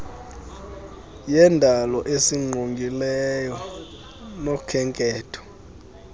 yendalo esingqongileyo nokhenketho